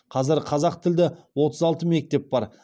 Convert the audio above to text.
қазір қазақтілді отыз алты мектеп бар